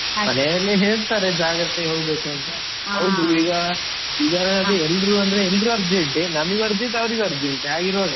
ಹೇಳ್ತಾರೆ ಜಾಗ್ರತೆ ಹೋಗ್ಬೇಕು ಅಂತ. ಹೌದು ಈಗ ಈಗ ಅದೇ ಎಲ್ರು ಅಂದ್ರೆ ಎಲ್ರು urgent ನಮಗೂ urgent ಅವರಿಗೂ urgent ಹಾಗಿರುವಾಗ.